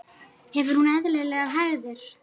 Hefur hún eðlilegar hægðir?